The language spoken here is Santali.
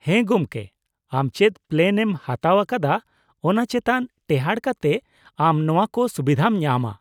-ᱦᱮᱸ ᱜᱚᱢᱠᱮ , ᱟᱢ ᱪᱮᱫ ᱯᱞᱮᱱ ᱮᱢ ᱦᱟᱛᱟᱣ ᱟᱠᱟᱫᱟ , ᱚᱱᱟ ᱪᱮᱛᱟᱱ ᱴᱮᱦᱟᱴ ᱠᱟᱛᱮ ᱟᱢ ᱱᱚᱣᱟ ᱠᱚ ᱥᱩᱵᱤᱫᱷᱟᱢ ᱧᱟᱢᱟ ᱾